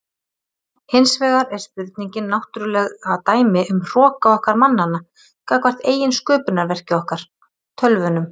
Hins vegar er spurningin náttúrlega dæmi um hroka okkar mannanna gagnvart eigin sköpunarverki okkar, tölvunum.